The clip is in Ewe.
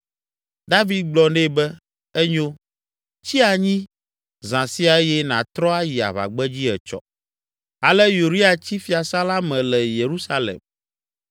David gblɔ nɛ be, “Enyo; tsi anyi zã sia eye nàtrɔ ayi aʋagbedzi etsɔ,” Ale Uria tsi fiasã la me le Yerusalem.